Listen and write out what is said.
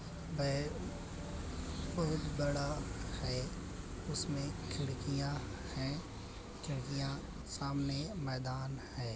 बहोत बड़ा है। उसमे खिड़कियां है। खिड़कियां सामने मैदान है।